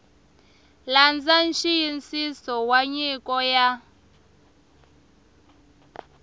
landza nxiyisiso wa nyiko ya